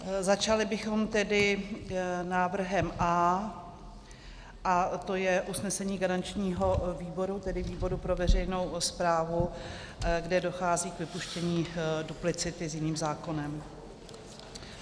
Začali bychom tedy návrhem A a to je usnesení garančního výboru, tedy výboru pro veřejnou správu, kde dochází k vypuštění duplicity s jiným zákonem.